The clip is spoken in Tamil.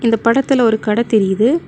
இந்த படத்துல ஒரு கட தெரியுது.